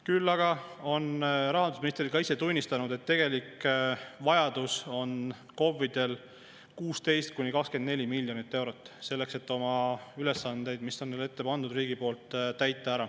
Küll aga on rahandusminister isegi tunnistanud, et tegelik vajadus on KOV-idel 16–24 miljonit eurot selleks, et oma ülesandeid, mis riik on neile ette pannud, täita.